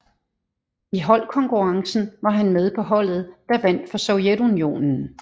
I holdkonkurrencen var han med på holdet der vandt for Sovjetunionen